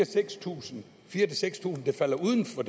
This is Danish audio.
tusind seks tusind der falder uden for